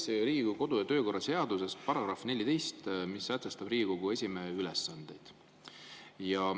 Loen Riigikogu kodu- ja töökorra seaduse § 14, mis sätestab Riigikogu esimehe ülesanded.